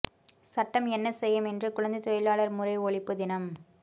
சட்டம் என்ன செய்யும் இன்று குழந்தை தொழிலாளர் முறை ஒழிப்பு தினம்